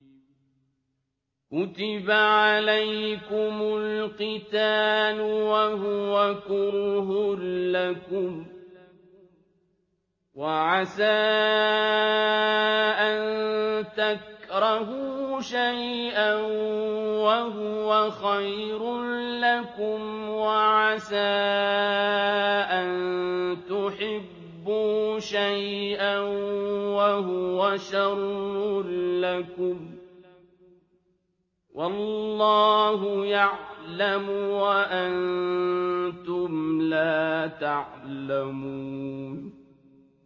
كُتِبَ عَلَيْكُمُ الْقِتَالُ وَهُوَ كُرْهٌ لَّكُمْ ۖ وَعَسَىٰ أَن تَكْرَهُوا شَيْئًا وَهُوَ خَيْرٌ لَّكُمْ ۖ وَعَسَىٰ أَن تُحِبُّوا شَيْئًا وَهُوَ شَرٌّ لَّكُمْ ۗ وَاللَّهُ يَعْلَمُ وَأَنتُمْ لَا تَعْلَمُونَ